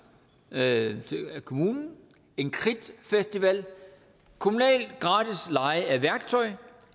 af kommunen en kridtfestival kommunal gratis leje af værktøj